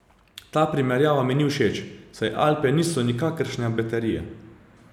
Ta primerjava mi ni všeč, saj Alpe niso nikakršna baterija.